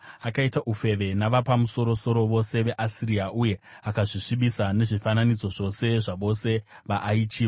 Akaita ufeve navapamusoro-soro vose veAsiria uye akazvisvibisa nezvifananidzo zvose zvavose vaaichiva.